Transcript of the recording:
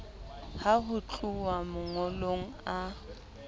ha ho tluwa mangolong a